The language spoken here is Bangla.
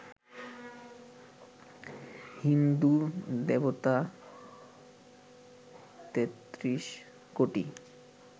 হিন্দুর দেবতা তেত্রিশ কোটি